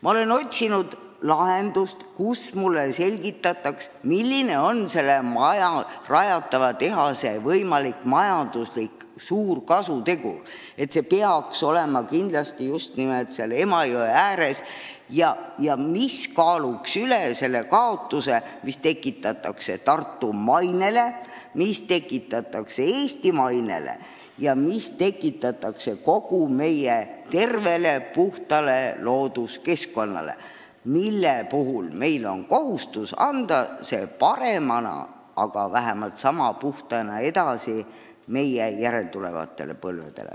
Ma olen otsinud infot, mis mulle selgitaks, miks see tehas peaks olema kindlasti just nimelt seal Emajõe ääres, milline on rajatava tehase võimalik suur kasutegur, mis kaaluks üles selle kahju, mida tekitataks Tartu mainele, mida tekitataks Eesti mainele ja mida tekitataks kogu meie tervele, puhtale looduskeskkonnale, mille me oleme kohustatud andma paremana või vähemalt sama puhtana edasi järeltulevatele põlvedele.